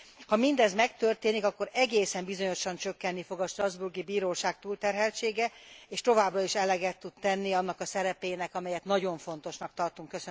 Ha mindez megtörténik, akkor egészen bizonyosan csökkenni fog a strasbourgi bíróság túlterheltsége, és továbbra is eleget tud tenni annak a szerepének, amelyet nagyon fontosnak tartunk.